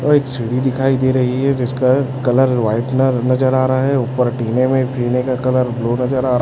अ एक सी_डी दिखाई दे रही है जिसका कलर व्हाइटनर नजर आ रहा है ऊपर टिने में टिने का कलर ब्लू नजर आ--